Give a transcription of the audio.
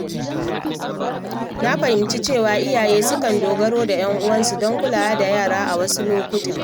Na fahimci cewa iyaye sukan dogara da ‘yan uwansu don kulawa da yara a wasu lokuta.